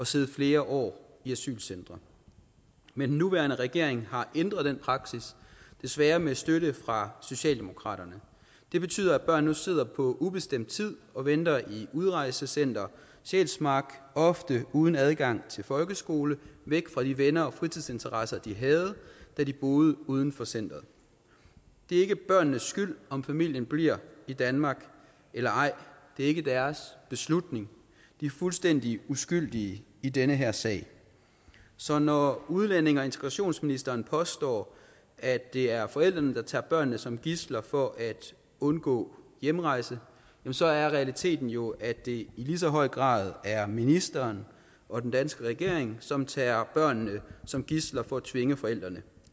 sidde flere år i asylcentre men den nuværende regering har ændret den praksis desværre med støtte fra socialdemokraterne det betyder at børn nu sidder på ubestemt tid og venter i udrejsecenter sjælsmark ofte uden adgang til folkeskole væk fra de venner og fritidsinteresser de havde da de boede uden for centeret det er ikke børnenes skyld om familien bliver i danmark eller ej det er ikke deres beslutning de er fuldstændig uskyldige i den her sag så når udlændinge og integrationsministeren påstår at det er forældrene der tager børnene som gidsler for at undgå hjemrejse så er realiteten jo at det i lige så høj grad er ministeren og den danske regering som tager børnene som gidsler for at tvinge forældrene